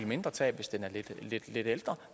mindre tab hvis den er lidt ældre